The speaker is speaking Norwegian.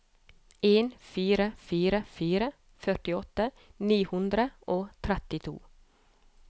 en fire fire fire førtiåtte ni hundre og trettito